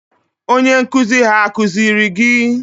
Onye nkụzi ha akụziri gi?